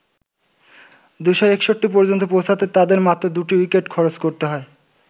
২৬১ পর্যন্ত পৌঁছাতে তাদের মাত্র দুটি উইকেট খরচ করতে হয়।